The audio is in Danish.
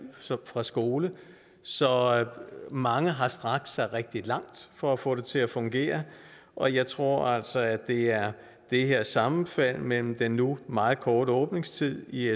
fra skole så mange har strakt sig rigtig langt for at få det til at fungere og jeg tror altså at det er det her sammenfald mellem den nu meget korte åbningstid i